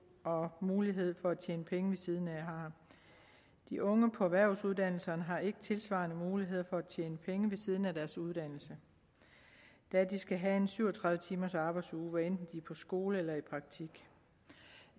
og mulighed for at tjene penge ved siden af har de unge på erhvervsuddannelserne har ikke tilsvarende muligheder for at tjene penge ved siden af deres uddannelse da de skal have en syv og tredive timers arbejdsuge hvad enten de er på skole eller i praktik